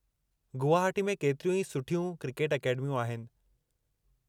गुवहाटी में केतिरियूं ई सुठियूं क्रिकेट अकेडमियूं आहिनि।